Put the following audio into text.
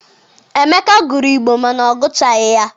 Emeka gụrụ Igbo mana ọ gụchaghi ya.